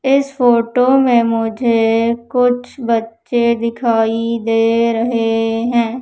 इस फोटो में मुझे कुछ बच्चे दिखाई दे रहें हैं।